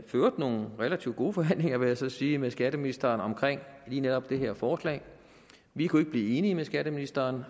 øvrigt nogle relativt gode forhandlinger vil jeg så sige med skatteministeren om lige netop det her forslag vi kunne ikke blive enige med skatteministeren